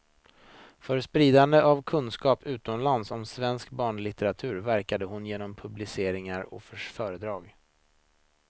För spridande av kunskap utomlands om svensk barnlitteratur verkade hon genom publiceringar och föredrag.